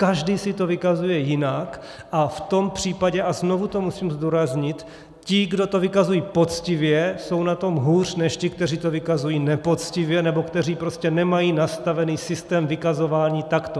Každý si to vykazuje jinak, a v tom případě, a znovu to musím zdůraznit, ti, kdo to vykazují poctivě, jsou na tom hůř než ti, kteří to vykazují nepoctivě nebo kteří prostě nemají nastavený systém vykazování takto.